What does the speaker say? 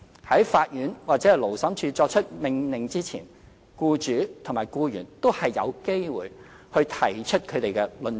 在法院或勞審處作出命令之前，僱主和僱員都有機會提出他們的論點。